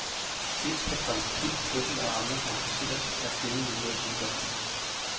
Dels kan graviditet, fødsel og amning kompliceres, når kvinden lider af sygdommen.